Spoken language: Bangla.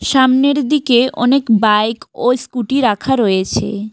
সামনের দিকে অনেক বাইক ও স্কুটি রাখা রয়েছে।